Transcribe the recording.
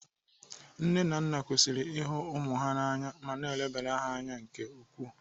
Nne na nna kwesịrị ihu ụmụ ha na anya ma na-elebara ha anya nke ukwuu.